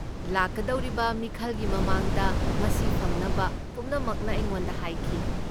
ꯂꯥꯛꯀꯗꯧꯔꯤꯕ ꯃꯤꯈꯜꯒꯤ ꯃꯃꯥꯡꯗ ꯃꯁꯤ ꯐꯪꯅꯕ ꯄꯨꯝꯅꯃꯛꯅ ꯑꯩꯉꯣꯟꯗ ꯍꯥꯏꯈꯤ꯫